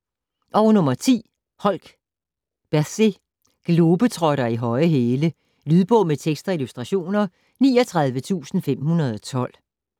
Holk, Bethsy: Globetrotter i høje hæle Lydbog med tekst og illustrationer 39512